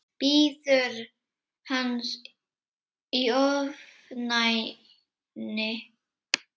Bíður hans í ofvæni.